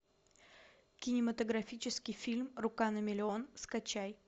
кинематографический фильм рука на миллион скачай